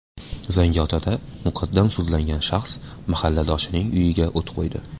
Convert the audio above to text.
Zangiotada muqaddam sudlangan shaxs mahalladoshining uyiga o‘t qo‘ydi.